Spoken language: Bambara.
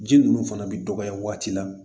Ji ninnu fana bɛ dɔgɔya waati la